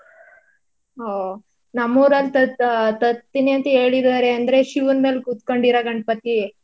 ಒಹ್ ನಮ್ ಊರಲ್ಲೂ ತತ್~ ತತ್ತೀನಿ ಅಂತ ಹೇಳಿದಾರೆ ಅಂದ್ರೆ ಶಿವನ್ ಮೇಲ್ ಕೂತ್ಕೊಂಡಿರೋ ಗಣಪತಿ.